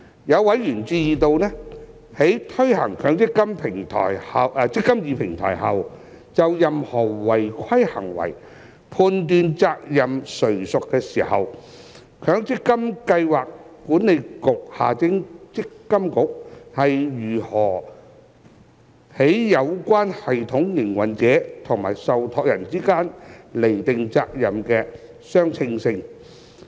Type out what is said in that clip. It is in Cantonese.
有委員關注到，在推行"積金易"平台後，就任何違規行為判斷責任誰屬時，強制性公積金計劃管理局如何在有關系統營運者與受託人之間釐定責任的相稱性。